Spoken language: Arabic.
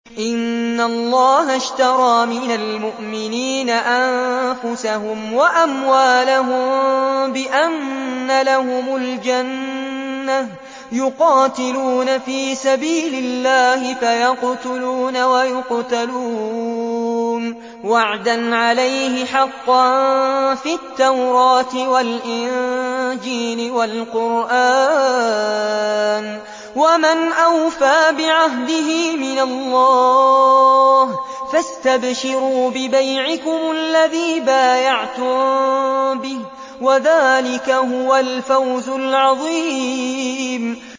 ۞ إِنَّ اللَّهَ اشْتَرَىٰ مِنَ الْمُؤْمِنِينَ أَنفُسَهُمْ وَأَمْوَالَهُم بِأَنَّ لَهُمُ الْجَنَّةَ ۚ يُقَاتِلُونَ فِي سَبِيلِ اللَّهِ فَيَقْتُلُونَ وَيُقْتَلُونَ ۖ وَعْدًا عَلَيْهِ حَقًّا فِي التَّوْرَاةِ وَالْإِنجِيلِ وَالْقُرْآنِ ۚ وَمَنْ أَوْفَىٰ بِعَهْدِهِ مِنَ اللَّهِ ۚ فَاسْتَبْشِرُوا بِبَيْعِكُمُ الَّذِي بَايَعْتُم بِهِ ۚ وَذَٰلِكَ هُوَ الْفَوْزُ الْعَظِيمُ